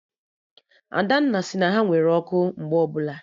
Adanna sị na ha nwere ọkụ mgbe ọbụla